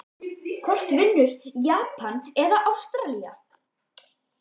Hvort vinnur Japan eða Ástralía???